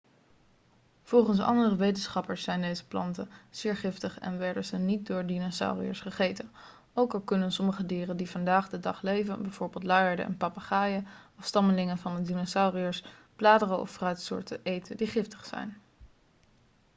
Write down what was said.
volgens andere wetenschappers zijn deze planten zeer giftig en werden ze niet door dinosauriërs gegeten. ook al kunnen sommige dieren die vandaag de dag leven bijvoorbeeld luiaarden en papegaaien afstammelingen van de dinosauriërs bladeren of fruitsoorten eten die giftig zijn